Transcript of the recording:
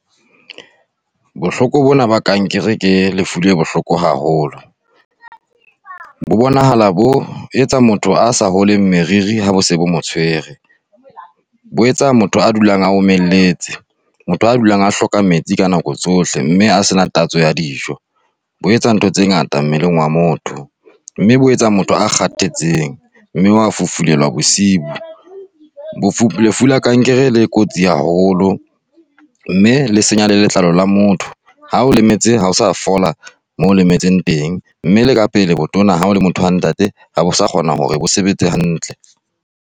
Bohloko bona ba kankere ke lefu le bohloko haholo. Bo bonahala bo etsa motho a sa holeng meriri ha bo se bo mo tshwere. Bo etsa motho a dulang a omeletse, motho a dulang a hloka metsi ka nako tsohle mme a sena tatso ya dijo. Bo etsa ntho tse ngata mmeleng wa motho, mme bo etsa motho a kgathetseng mme wa fufulelwa bosiu. Lefu la kankere le kotsi haholo mme le senya le letlalo la motho. Ha o lemetse ha o sa fola moo o lemetseng teng, mme le ka pele botona ha o le motho wa ntate, ha bo sa kgona hore bo sebetse hantle.